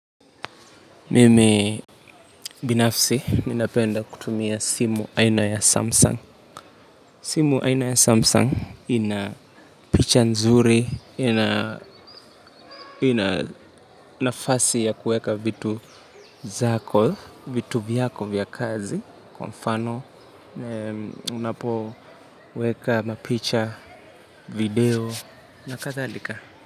Mimi binafsi ninapenda kutumia simu aina ya Samsung. Simu aina ya Samsung ina picha nzuri, ina nafasi ya kuweka vitu zako, vitu vyako vya kazi, kwa mfano. Unapo weka mapicha video na kadhalika.